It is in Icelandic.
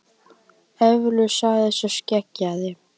Eflaust, sagði sá skeggjaði.